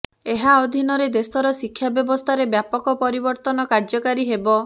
ଏହା ଅଧୀନରେ ଦେଶର ଶିକ୍ଷା ବ୍ୟବସ୍ଥାରେ ବ୍ୟାପକ ପରିବର୍ତ୍ତନ କାର୍ଯ୍ୟକାରୀ ହେବ